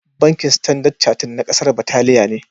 Bankin Standard Charted na kasa Birtaniya ne.